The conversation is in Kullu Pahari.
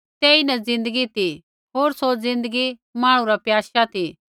तेइन ज़िन्दगी ती होर सौ ज़िन्दगी मांहणु रा प्याशा ती